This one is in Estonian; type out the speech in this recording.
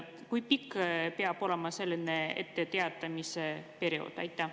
Kui pikk peab olema etteteatamise periood?